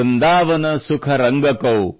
ವೃಂದಾವನ್ ಸುಖ ರಂಗಕೌ